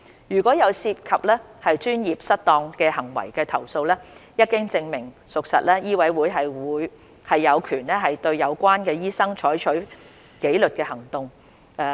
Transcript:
如有涉及專業失當行為的投訴，一經證明屬實，醫委會有權對有關醫生採取紀律行動。